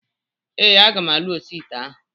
Ee, aga m alụ oshi ite ahụ